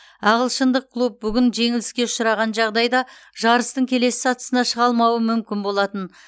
ағылшындық клуб бүгін жеңіліске ұшыраған жағдайда жарыстың келесі сатысына шыға алмауы мүмкін болатын